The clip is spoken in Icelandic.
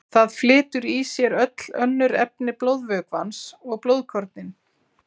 Það flytur í sér öll önnur efni blóðvökvans og blóðkornin.